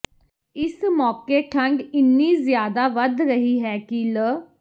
ਇਸ ਮੌਕੇ ਠੰਢ ਇੰਨੀ ਜ਼ਿਆਦਾ ਵੱਧ ਰਹੀ ਹੈ ਕਿ ਲ